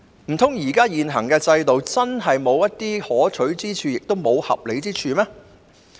難道現行制度真的毫無可取之處，亦無合理之處嗎？